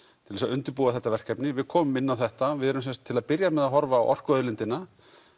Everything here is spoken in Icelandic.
til að undirbúa þetta verkefni við komum inn á þetta við erum sem sagt til að byrja með að horfa á orkuauðlindina